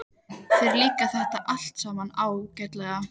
Þér líkar þetta allt saman ágætlega.